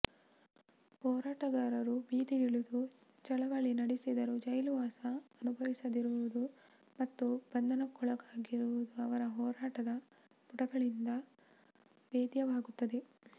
ಹೋರಾಟಗಾರರು ಬೀದಿಗಿಳಿದು ಚಳವಳಿ ನಡೆಸಿದರೂ ಜೈಲುವಾಸ ಅನುಭವಿಸದಿರುವುದು ಮತ್ತು ಬಂಧನಕ್ಕೊಳಗಾಗದಿರುವುದು ಅವರ ಹೋರಾಟದ ಪುಟಗಳಿಂದ ವೇದ್ಯವಾಗುತ್ತದೆ